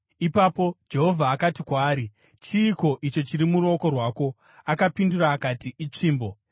Ipapo Jehovha akati kwaari, “Chiiko icho chiri muruoko rwako?” Akapindura akati, “Itsvimbo.”